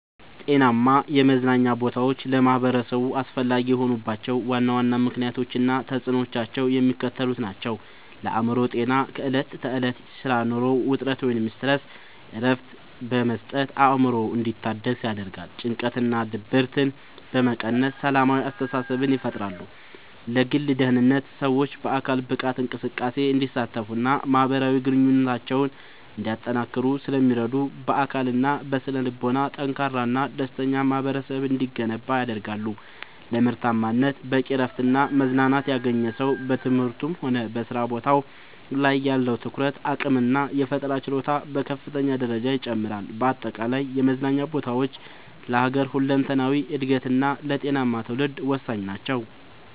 ጤናማ የመዝናኛ ቦታዎች ለማኅበረሰቡ አስፈላጊ የሆኑባቸው ዋና ዋና ምክንያቶች እና ተፅዕኖዎቻቸው የሚከተሉት ናቸው፦ ለአእምሮ ጤና፦ ከዕለት ተዕለት የሥራና የኑሮ ውጥረት (Stress) እረፍት በመስጠት አእምሮ እንዲታደስ ያደርጋሉ። ጭንቀትንና ድብርትን በመቀነስ ሰላማዊ አስተሳሰብን ይፈጥራሉ። ለግል ደህንነት፦ ሰዎች በአካል ብቃት እንቅስቃሴ እንዲሳተፉና ማኅበራዊ ግንኙነታቸውን እንዲያጠናክሩ ስለሚረዱ፣ በአካልና በስነ-ልቦና ጠንካራና ደስተኛ ማኅበረሰብ እንዲገነባ ያደርጋሉ። ለምርታማነት፦ በቂ እረፍትና መዝናናት ያገኘ ሰው በትምህርቱም ሆነ በሥራ ቦታው ላይ ያለው የትኩረት አቅምና የፈጠራ ችሎታ በከፍተኛ ደረጃ ይጨምራል። በአጠቃላይ የመዝናኛ ቦታዎች ለሀገር ሁለንተናዊ እድገትና ለጤናማ ትውልድ ወሳኝ ናቸው።